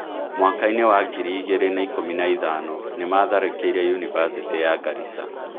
Mwaka-inĩ wa ngiri mĩrongo ĩĩri na ĩkumi na ithano, nĩ maatharĩkĩire yunibacĩtĩ ya Garissa